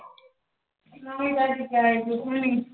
ਨਵੀਂ ਤਾਜ਼ੀ ਕਿਥੇ ਆਗੀ, ਕੁਸ਼ ਵੀ ਨੀਂ।